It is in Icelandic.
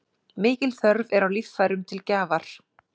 Mikil þörf er á líffærum til gjafar.